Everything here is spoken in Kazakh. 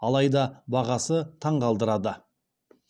алайда бағасы таңғалдырады